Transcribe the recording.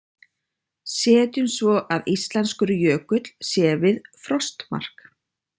Setjum svo að íslenskur jökull sé við frostmark.